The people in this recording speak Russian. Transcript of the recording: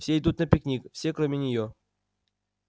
все идут на пикник все кроме неё